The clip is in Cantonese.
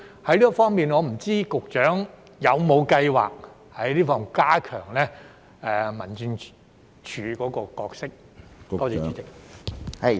就這方面，我不知道局長有否計劃加強民政事務處的角色？